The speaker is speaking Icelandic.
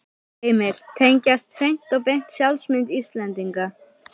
Heimir: Tengjast hreint og beint sjálfsmynd Íslendinga?